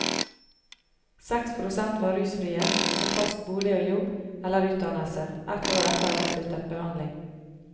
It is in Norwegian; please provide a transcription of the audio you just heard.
Seks prosent var rusfrie, med fast bolig og jobb eller utdannelse, ett år etter avsluttet behandling.